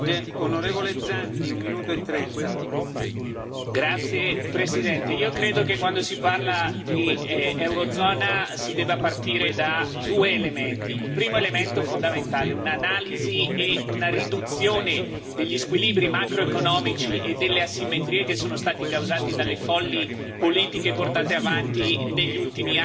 Signor Presidente, onorevoli colleghi, io credo che quando si parla di Eurozona si debba partire da due elementi. Il primo elemento fondamentale è un'analisi e una riduzione degli squilibri macroeconomici e delle asimmetrie che sono stati causati dalle folli politiche portate avanti negli ultimi anni e stanno distruggendo l'Europa.